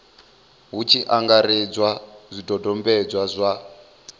hu tshi angaredzwa zwidodombedzwa zwa